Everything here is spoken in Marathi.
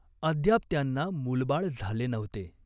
अद्याप त्यांना मूलबाळ झाले नव्हते.